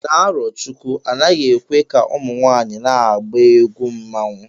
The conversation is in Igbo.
Na Arochukwu, anaghị ekwe ka ụmụ nwanyị na-agba egwu mmanwụ